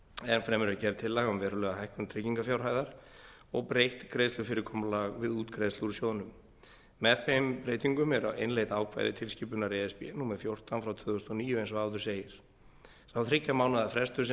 enn fremur er gerð tillaga um verulega hækkun tryggingarfjárhæðar og breytt greiðslufyrirkomulag við útgreiðslu úr sjóðnum með þeim breytingum eru innleidd ákvæði tilskipunar e s b númer fjórtán frá tvö þúsund og níu eins og áður segir sá þriggja mánaðar frestur sem